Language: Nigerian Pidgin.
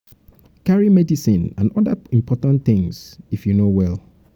carry medicine and oda important things if you no well